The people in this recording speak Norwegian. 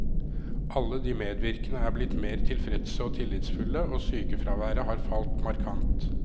Alle de medvirkende er blitt mer tilfredse og tillitsfulle, og sykefraværet har falt markant.